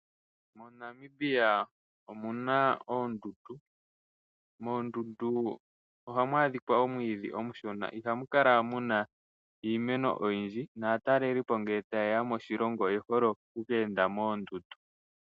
MoNamibia omu na oondundu. Moondundu ohamu adhika omwiidhi omushona ihamu kala muna iimeno oyindji naatalelipo ngele taye ya moshilongo oye hole oku keenda moondundu.